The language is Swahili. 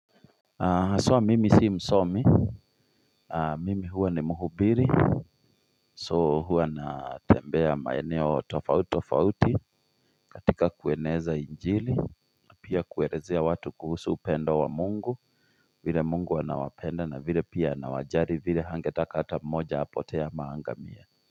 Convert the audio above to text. So mimi si msomi, mimi huwa ni muhubiri, so huwa natembea maeneo tofauti, tofauti, katika kueneza injili, pia kuelezea watu kuhusu upendo wa mungu, vile mungu anawapenda na vile pia anawajali vile hangetaka hata mmoja apotee ama aangamie.